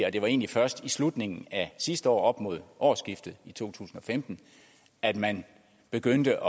og det var egentlig først i slutningen af sidste år op mod årsskiftet i to tusind og femten at man begyndte